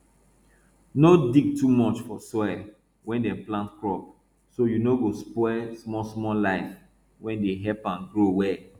no dig too much for soil wey dem plant crop so you no no spoil smallsmall life wey dey help am grow well